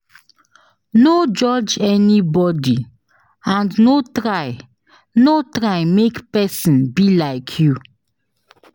No judge anybody and no try no try make persin be like you